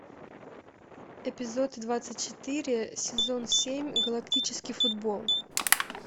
эпизод двадцать четыре сезон семь галактический футбол